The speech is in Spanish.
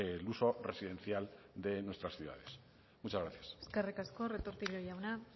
el uso residencial de nuestras ciudades muchas gracias eskerrik asko retortillo jauna